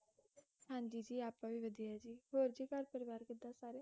ਹਾਂਜੀ ਜੀ ਆਪਾਂ ਵੀ ਵਧੀਆ ਜੀ ਹੋਰ ਜੀ ਘਰ ਪਰਿਵਾਰ ਕਿਦਾਂ ਸਾਰੇ?